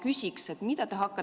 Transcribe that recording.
Head Riigikogu liikmed!